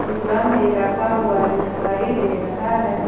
गम भी रखा हुआ दिखाई दे रहा है।